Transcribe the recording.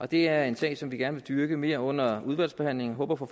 det er en sag som vi gerne vil dyrke mere under udvalgsbehandlingen og håber på